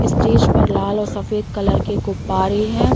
Stage पर लाल और सफ़ेद कलर के गुब्बारे हैं।